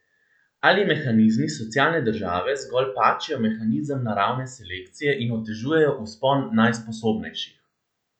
Ali mehanizmi socialne države zgolj pačijo mehanizem naravne selekcije in otežujejo vzpon najsposobnejših?